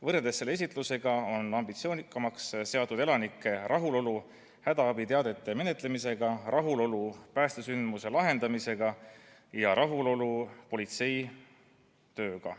Võrreldes selle esitlusega on ambitsioonikamaks muudetud elanike rahulolu hädaabiteadete menetlemisega, rahulolu päästesündmuse lahendamisega ja rahulolu politsei tööga.